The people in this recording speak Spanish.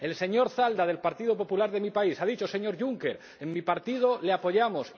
El señor Zalba, del Partido Popular de mi país, ha dicho Señor Juncker, en mi partido le apoyamos.